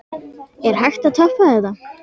Er hægt að toppa þetta?